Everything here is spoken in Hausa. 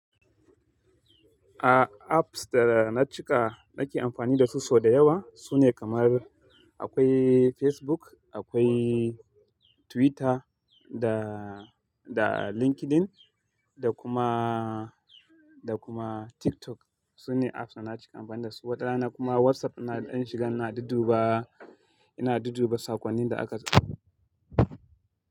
A apps da na cika nake amfani da su sau dayawa sune kamar akwai Facebook, akwai Twitter da, da LinkedIn da kuma, da kuma TikTok. Sune apps da na cika amfani da su. Wata rana kuma WhatsApp dina zan shiga ina dudduba, ina dudduba sakonnin da aka.